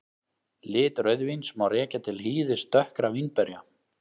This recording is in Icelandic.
Lit rauðvíns má rekja til hýðis dökkra vínberja.